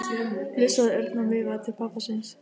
flissaði Örn og veifaði til pabba síns.